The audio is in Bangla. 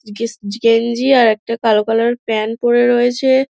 গিস গেঞ্জি আর একটা কালো কালার -এর প্যান্ট পরে রয়েছে।